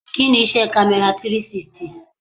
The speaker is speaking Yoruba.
Kí ni iṣẹ́ kamera 360?